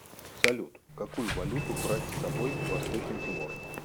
салют какую валюту брать с собой в восточный тимор